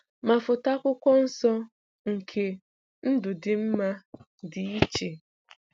Ma foto Akwụkwọ Nsọ nke "ndụ dị mma" dị iche.